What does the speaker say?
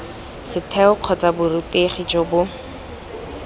setheo kgotsa borutegi jo bo